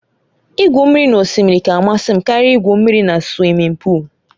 Igwu mmiri n'osimiri ka amasị m karịa igwu mmiri na suwimin pụụlu